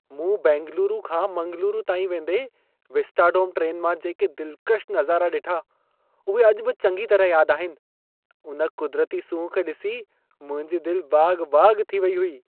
मूं बेंगलुरु खां मंगलुरु ताईं वेंदे विस्टाडोम ट्रेन मां जेके दिलकश नज़ारा ॾिठा उहे अॼु बि चङी तरह यादि आहिनि। उन क़ुदिरती सूंह खे ॾिसी मुंहिंजी दिल बाग़-बाग़ थी वई हुई।